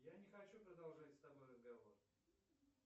я не хочу продолжать с тобой разговор